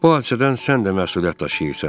Bu hadisədən sən də məsuliyyət daşıyırsan.